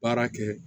Baara kɛ